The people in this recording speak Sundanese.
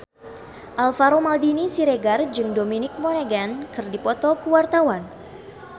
Alvaro Maldini Siregar jeung Dominic Monaghan keur dipoto ku wartawan